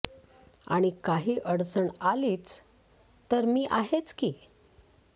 आणि काही अडचण आलीच तर मी आहेच की